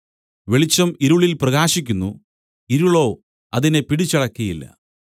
വെളിച്ചം ഇരുളിൽ പ്രകാശിക്കുന്നു ഇരുളോ അതിനെ പിടിച്ചടക്കിയില്ല